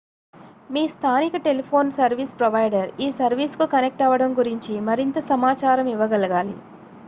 మీ స్థానిక telephone service provider ఈ సర్వీస్కు కనెక్ట్ అవ్వడం గురించి మరింత సమాచారం ఇవ్వగలగాలి